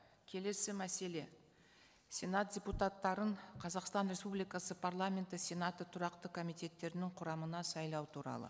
келесі мәселе сенат депутаттарын қазақстан республикасы парламенті сенаты тұрақты комитеттерінің құрамына сайлау туралы